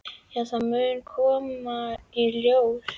Já, það mun koma í ljós.